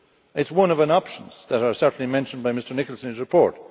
It is one of the options that are certainly mentioned in Mr Nicholson's report.